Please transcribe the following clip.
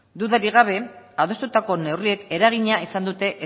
dudarik gabe adostutako neurriek eragina izan dute